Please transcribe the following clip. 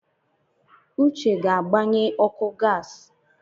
Uche ga-agbanye ọkụ gas.